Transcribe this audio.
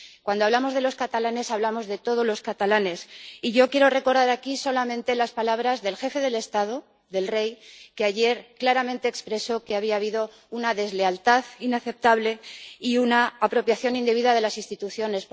Cuando hablamos de los catalanes, hablamos de todos los catalanes, y yo quiero recordar aquí solamente las palabras del jefe del Estado, del Rey, que ayer claramente expresó que había habido una deslealtad inaceptable y una apropiación indebida de las instituciones.